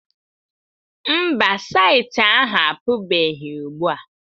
Mba, saịtị ahụ apụbeghị ugbua.